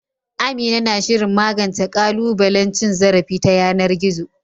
Amina na shirin magance ƙalubalen cin zarafi ta yanar gizo.